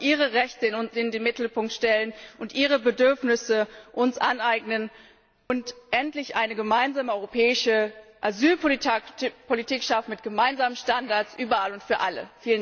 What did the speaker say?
Wir sollten ihre Rechte in den Mittelpunkt stellen und ihre Bedürfnisse uns aneignen und endlich eine gemeinsame europäische Asylpolitik schaffen, mit gemeinsamen Standards überall und für alle.